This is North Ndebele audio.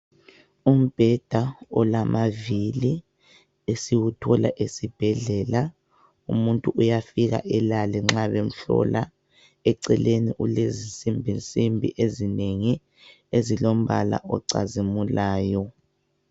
Umbheda olamaviri esiwuthola esibhedlela umuntu uyafika elale nxa bemhlola eceleni ulezi nsimbi nsimbi ezinengi ezilombala ocazimulayo.